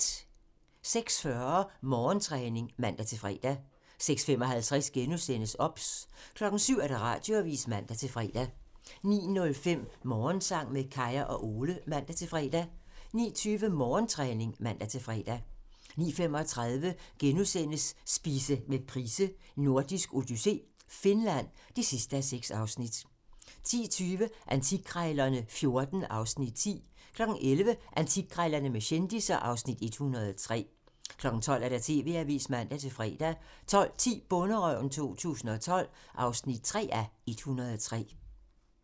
06:40: Morgentræning (man-fre) 06:55: OBS * 07:00: TV-avisen (man-fre) 09:05: Morgensang med Kaya og Ole (man-fre) 09:20: Morgentræning (man-fre) 09:35: Spise med Price: Nordisk odyssé - Finland (6:6)* 10:20: Antikkrejlerne XIV (Afs. 10) 11:00: Antikkrejlerne med kendisser (Afs. 103) 12:00: TV-avisen (man-fre) 12:10: Bonderøven 2012 (3:103)